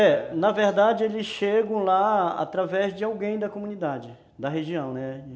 É, na verdade eles chegam lá através de alguém da comunidade, da região, né?